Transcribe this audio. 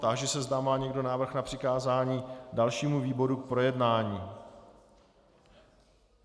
Táži se, zda má někdo návrh na přikázání dalšímu výboru k projednání.